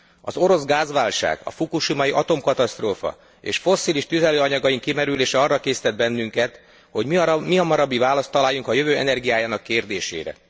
Az orosz gázválság, a fukushimai atomkatasztrófa, és fosszilis tüzelőanyagaink kimerülése arra késztet bennünket, hogy mihamarabbi választ találjunk a jövő energiájának kérdésére.